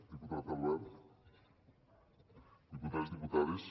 diputat albert diputats diputades